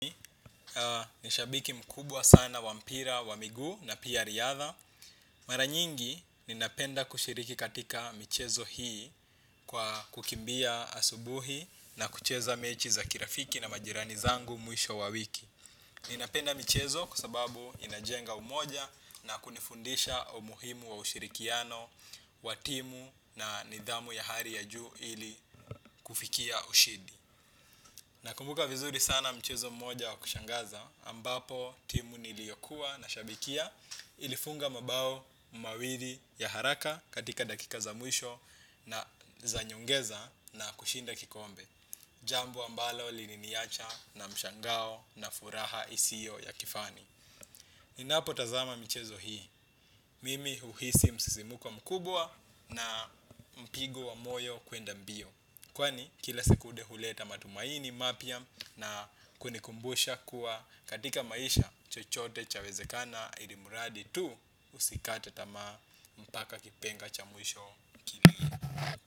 Ni shabiki mkubwa sana wa mpira, wa miguu na pia riadha. Mara nyingi ninapenda kushiriki katika michezo hii kwa kukimbia asubuhi na kucheza mechi za kirafiki na majirani zangu mwisho wa wiki. Ninapenda michezo kwa sababu inajenga umoja na kunifundisha umuhimu wa ushirikiano wa timu na nidhamu ya hari ya juu ili kufikia ushindi. Nakumbuka vizuri sana mchezo mmoja wa kushangaza ambapo timu niliyokuwa nashabikia ilifunga mabao mawiri ya haraka katika dakika za mwisho na za nyongeza na kushinda kikombe. Jambo ambalo liliniacha na mshangao na furaha isiyo ya kifani. Ninapotazama michezo hii, mimi huhisi msisimko na mkubwa na mpigo wa moyo kwenda mbio. Kwani kila sekunde huleta matumaini mapya na kunikumbusha kuwa katika maisha chochote chawezekana ili muradi tu usikate tamaa mpaka kipenga cha mwisho kini.